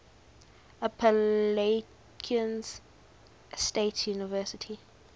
appalachian state university